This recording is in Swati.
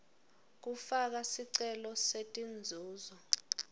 kufaka sicelo setinzuzo